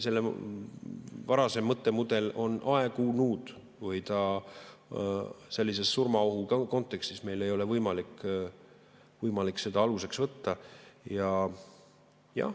Varasem mõttemudel on aegunud, sellises surmaohu kontekstis meil ei ole võimalik seda aluseks võtta.